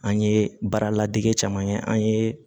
An ye baara ladege caman kɛ an ye